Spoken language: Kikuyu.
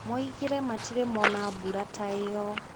Moigire matirĩ mona mbura ta ĩyo.